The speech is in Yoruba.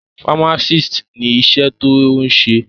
Fámásìst ni iṣẹ́ tí o ń ṣe.